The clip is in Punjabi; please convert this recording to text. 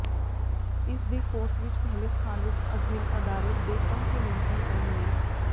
ਇਸ ਦੇ ਕੋਰਸ ਵਿੱਚ ਪਹਿਲੇ ਸਥਾਨ ਵਿੱਚ ਅਧੀਨ ਅਦਾਰੇ ਦੇ ਕੰਮ ਤੇ ਨਿਯੰਤਰਣ ਕਰਨ ਲਈ